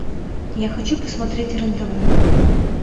я хочу посмотреть рен тв